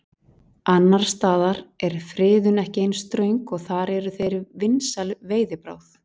Annars staðar er friðun ekki eins ströng og þar eru þeir vinsæl veiðibráð.